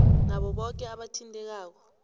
nabo boke abathintekako